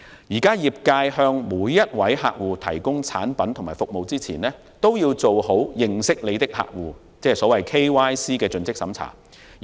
業界現時向每位客戶提供產品和服務前，均須做好認識你的客戶)的盡職審查。